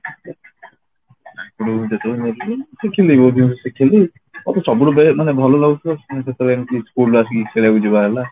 ଶିଖିଲି ବହୁତ ଜିନିଷ ଶିଖିଲି ମୋତେ ସବୁଠୁ ବେ ମାନେ ଭଲ ଲାଗୁଥିଲା ସେତେବେଳେ ଏମିତି schoolରୁ ଆସିକି ଖେଳିବାକୁ ଯିବା ହେଲା